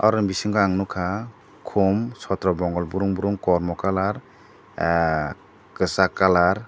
oroni bisingo ang nogkha kom sotro bongok borong borong kormo colour kisag colour.